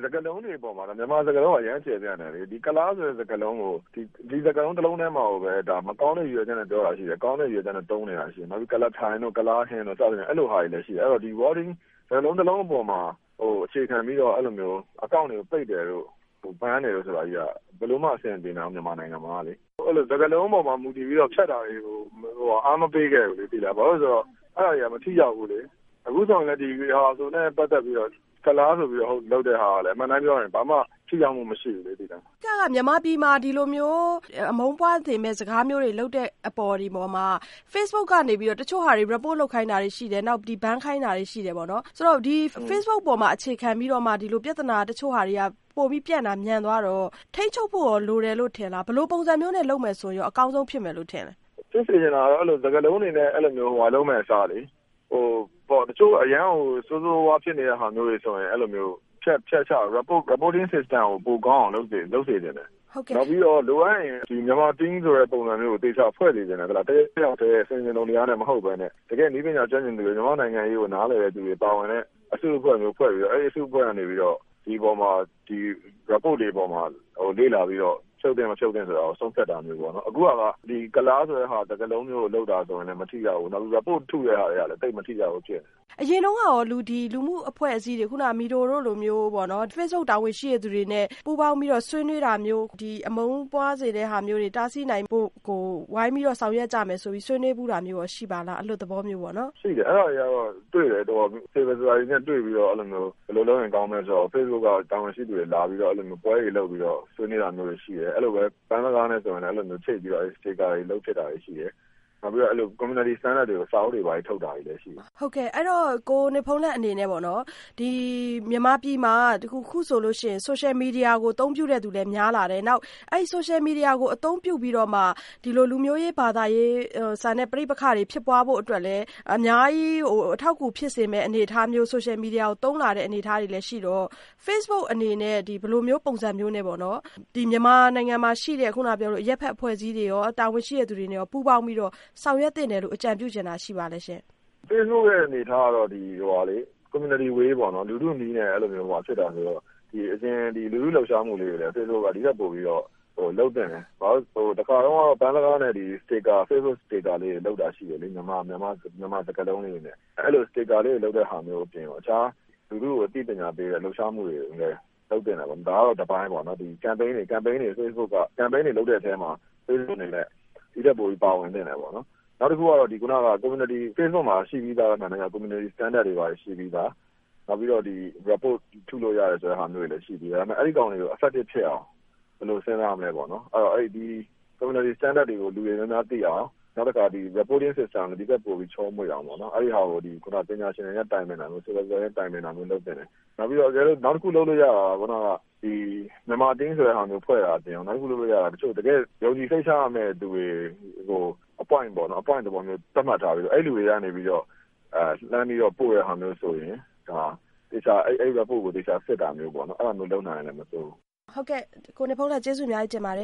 စကားလုံးတွေအပေါ်မှာတော့ မြန်မာစကားလုံးက အရမ်းကျယ်ပြန့်တယ်လေ။ ဒီကုလားဆိုတဲ့စကားလုံးကို ဒီစကားလုံးတလုံးထဲမှာကိုပဲ မကောင်းတဲ့ရည်ရွယ်ချက်နဲ့ ပြောတာရှိတယ်၊ ကောင်းတဲ့ရည်ရွယ်ချက်နဲ့ သုံးနေတာရှိတယ်။ ကုလားထိုင် တို့၊ ကုလားဟင်းတို့ အဲလိုဟာတွေလည်းရှိတယ်။ ဆိုတော့ ဒီ Wording စကားလုံးတလုံးအပေါ်မှာအခြေခံပြီးတော့ အကောင့်တွေကို ပိတ်တယ်လို့၊ ban တယ်ဆိုတာကြီးက ဘယ်လိုမှ အဆင်မပြေနိုင်ဘူး မြန်မာနိုင်ငံမှာကလေ။ စကားလုံးအပေါ်မှာမူတည်ပြီးတော့ ဖျက်တာတွေကို အားမပေးခဲ့ဘူး ဘာဖြစ်လို့လဲဆိုတော့ အဲဒါတွေက မထိရောက်ဘူး။ အခုဆိုရင်လည်း ဒီဟာတွေဆိုရင်လည်း ကုလားဆိုပြီးတော့လုပ်တဲ့ဟာတွေက အမှန်အတိုင်းပြောရင် ဘာမှထိရောက်မှုမရှိဘူးလေ။ မဆုမွန်။ ။ အဓိက မြန်မာပြည်မှာဒီလိုမျိုး အမုန်းပွားစေမယ့် စကားလုံးတွေလုပ်တဲ့အပေါ်မှာ Facebook ကနေပြီးတော့ တချို့ဟာတွေ report လုပ်ခိုင်းတာတွေရှိတယ်။ နောက်ပြီး ban ခိုင်းတာတွေရှိတယ်ပေါ့နော်။ ဆိုတော့ Facebook အပေါ်မှာ အခြေခံပြီးတော့မှ ဒီလိုပြဿနာ တချို့ဟာတွေက ပိုပြီးပြန့်တာမြန်သွားတော့ ထိန်းချုပ်ဖို့ လိုတယ်လို့ထင်သလား။ ဘယ်လိုပုံစံမျိုးနဲ့လုပ်မယ်ဆိုရင် အကောင်းဆုံးဖြစ်မယ်လို့ထင်သလဲ။ ကိုနေဘုန်းလတ်။ ။ဖြစ်စေချင်တာက ဒီလိုမျိုး စကားလုံးတွေနဲ့ လုပ်မယ့်အစား တချို့အရမ်းကို ဆိုးဆိုးဝါးဝါးဖြစ်နေတာမျိုးကို ဖျက်ချ Reporting system ကို ပိုကောင်းအောင်လုပ်စေချင်တယ်။ နောက်ပြီးတော့ လိုအပ်ရင် Myanmar Team ဆိုတဲ့ ပုံစံမျိုးကို ဖွဲ့စေချင်တယ်။ တယောက်တည်း ဆင်ခြင်တုံတရားနဲ့ မဟုတ်ပဲနဲ့။ တကယ့်နည်းပညာကျွမ်းကျင်သူတွေ မြန်မာ့နိုင်ငံရေးကို နားလည်တဲ့သူတွေ ပါဝင်တဲ့ အစုအဖွဲ့မျိုးဖွဲ့ပြီးတော့ အဲဒီအစုအဖွဲ့ကနေပြီးတော့ ဒီအပေါ်မှာ Report တွေအပေါ်မှာ လေ့လာပြီးတော့ ဖြုတ်သင့်မဖြုတ်သင့်ဆိုတာကို သုံးသပ်တာမျိုးပေါ့နော်။ အခုက ကုလားဆိုတဲ့စာကားလုံးမျိုးကို လုပ်တာဆိုရင်လည်းမထိရောက်ဘူး။ နောက်ပြီးတော့ Report လုပ်တဲ့ဟာတွေကလည်း သိပ်မထိရောက်ဘူး။ မဆုမွန်။ ။အရင်တုန်းကရော လူမှုအဖွဲ့အစည်းတွေ MIDO တို့လိုမျိုး Facebook တာဝန်ရှိတဲ့လူတွေနဲ့ ပူးပေါင်းပြီးတော့ဆွေးနွေးတာမျိုး ဒီအမုန်းပွားစေတဲ့ဟာမျိုးတွေ တားဆီးနိုင်ဖို့အတွက်ကို ဝိုင်းပြီးတော့ ဆောင်ရွက်ကြမယ်ဆိုပြီးဆွေးနွေးတာမျိုးရော ရှိပါသလား အလွတ်သဘောမျိုးပေါ့နော်။ ကိုနေဘုန်းလတ်။ ။ရှိတယ် အဲဒါတွေကတော့ Civil society နဲ့တွေ့ပြီးတော့ ဘယ်လိုလုပ်ရင်ကောင်းမလဲဆိုတာကို Facebook တာဝန်ရှိတဲ့လူတွေလာပြီးတော့ အဲဒီလိုပွဲတွေလုပ်ပြီးတော့ ဆွေးနွေးတာမျိုး ရှိတယ်။ ပန်းစကားနဲ့ ဆိုရင်လည်း အဲဒီလိုချိတ်ပြီးတော့ လုပ်ဖြစ်တာတွေရှိတယ်။ နောက်ပြီးတော့ Community တွေကို စာအုပ်တွေထုတ်တာတွေရှိတယ်။ မဆုမွန်။ ။ကိုနေဘုန်းလတ်အနေနဲ့ပေါ့နော် မြန်မာပြည်မှာ အခုဆိုရင် Social Media ကိုအသုံးပြုသူလည်းများလာတယ်၊ နောက် Social Media ကိုအသုံးပြုပြီးတော့မှ ဒီလိုလူမျိုး ဘာသာရေးဆန်တဲ့ ပဋိပက္ခတွေ ဖြစ်ပွားဖို့အတွက်လည်း အများကြီး အထောက်အကူ ဖြစ်စေမယ့်အနေအထားမျိုးနဲ့ Social Media ကိုအသုံးပြုလာတဲ့ အနေအထားလည်း ရှိတော့Facebookအနေနဲ့ ဘယ်လိုမျိုးပုံစံမျိုးနဲ့ မြန်မာနိုင်ငံမှာရှိတဲ့ အရပ်ဘက်အဖွဲ့အစည်းတွေ တာဝန်ရှိတဲ့သူတွေနဲ့ရော ပူးပေါင်းပြီးတော့ ဆောင်ရွက်သင့်တယ်လို့ အကြံပြုချင်တာရှိပါသလဲရှင့်။ ကိုနေဘုန်းလတ်။ ။ Facebook အနေအထားကတော့ Community way လူထုနည်းနဲ့ ဖြစ်တာမျိုးတော့ လူထုလှုပ်ရှားမှုတွေလည်း Facebookက ဒီထက်ပိုပြီးတော့ လုပ်သင့်တယ်။ ဘာဖြစ်လို့လဲဆိုတော့ တခါတုန်းက ပန်းစကားနဲ့ Facebook sticker လေးတွေလုပ်တဲ့ဟာမျိုးအပြင်ကို အခြားလူထုကို အသိပညာပေး တဲ့လှုပ်ရှားမှုကိုလည်း လုပ်သင့်တယ်ပေါ့နော် ဒါကတော့ တပိုင်းပေါ့နော်။ Campaign တွေလုပ်တော့ အဲဒီလုပ်တဲ့အထဲမှာ Facebook အနေနဲ့ ဒီထက်ပိုပြီးပါဝင်သင့်တယ်ပေါ့နော်။ နောက်တခုကတော့ Facebook မှာရှိပြီးသား Community standard တွေရှိပြီးသား ၊ နောက်ပြီးတော့ Report လုပ်လို့ရတဲ့ဟာမျိုးတွေရှိပြီးသား အဲဒါတွေကို Effective ဖြစ်အောင်ဘယ်လိုစဉ်းစားမလဲပေါ့နော်။ Community standard တွေကို လူတွေများများသိအောင် နောက်တခါ Reporting System ကို ဒီထက်ပိုပြီးချောမွေ့အောင်ပေါ့နော်။ အဲဒီဟာကို ပညာရှင်တွေနဲ့ တိုင်ပင်ပြီး လုပ်သင့်တယ်။ နောက်ပြီးတော့ နောက်တခုလုပ်လို့ရတာက မြန်မာ Team ဆိုတာမျိုးဖွဲ့တာအပြင်ကို တကယ့် ယုံကြည်စိတ်ချရမယ့်သူတွေကို appoint သဘောမျိုးသတ်မှတ်ထားပြီးတော့ လှမ်းပြီးတော့ ပို့တဲ့ဟာမျိုးဆိုရင် အဲဒီ Report ကိုသေချာစစ်တာမျိုးပေါ့နော် အဲဒါမျိုးလုပ်နိုင်ရင်လည်းမဆိုးဘူး။ မဆုမွန်။ ။ဟုတ်ကဲ့ ကိုနေဘုန်းလတ် ဖြေပေးတာကျေးဇူးအများကြီးတင်ပါတယ